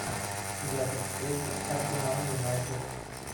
запись встречи арсенал юнайтед